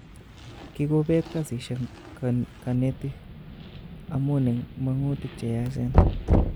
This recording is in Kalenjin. Kigopeet kasishek konetik amun en mongutik cheyachen